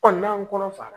n'an kɔnɔ fara